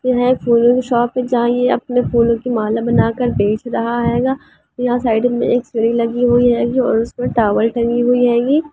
यह फूलों की शॉप अपने फूलों की माला बनाकर बेच रहा हेगा यहा साइड मे एक सीढ़ी लगी हेगी और इसमे टॉवल टंगी हुई हेगी।